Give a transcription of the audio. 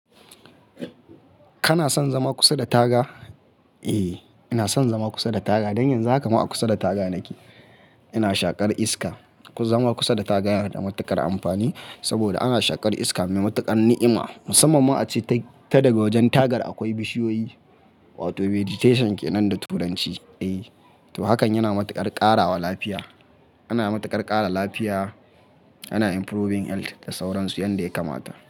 Kana son zama kusa da taga? Eh, ina son zama kusa da taga. Dan yanzu haka ma a kusa da taga nake. Ina shaƙar iska. Ku zama kusa da taga yana da matuƙar amfani saboda ana shaƙar iska mai matuƙar ni'ima. Musamman ma ace ta daga wajen tagar akwai bishiyoyi wato vegetation ke nan da turanci. Eh, to hakan yana matuƙar ƙarawa lafiya. Ana matuƙar ƙara lafiya, ana improving health da sauransu, yanda ya kamata.